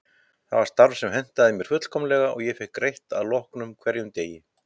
Það var starf sem hentaði mér fullkomlega og ég fékk greitt að loknum hverjum degi.